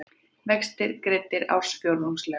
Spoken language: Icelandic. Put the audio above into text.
Vextir greiddir ársfjórðungslega